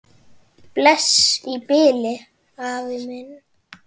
Bless í bili, afi minn.